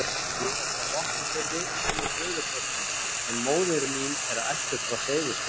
Ég er frá Vopnafirði sem og föðurfólk mitt, en móðir mín er ættuð frá Seyðisfirði.